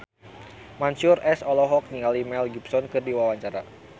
Mansyur S olohok ningali Mel Gibson keur diwawancara